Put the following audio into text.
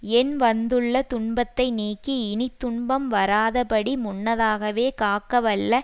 எண் வந்துள்ள துன்பத்தை நீக்கி இனி துன்பம் வராதபடி முன்னதாகவே காக்கவல்ல